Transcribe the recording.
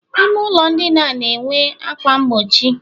ime ụlọ ndina na-enwe ákwá mgbochi